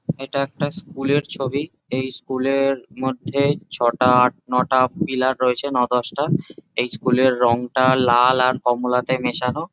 এটা একটা স্কুল এর ছবি। এই স্কুল এর মধ্যেই ছটা আট নটা পিলার রয়েছে ন দশটা। এই স্কুল এর রঙটা লাল আর কমলাতে মেশানো।